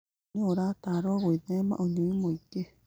Ũguo nĩ ũrataarwo gwĩthema ũnyui mwingĩ.